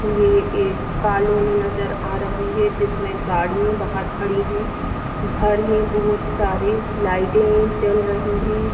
ये एक कॉलोनी नज़र आ रही है जिसमे गाड़िया बहार खड़ी है घर है बहुत सारे लाइटे जल रही है।